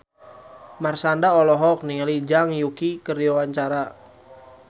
Marshanda olohok ningali Zhang Yuqi keur diwawancara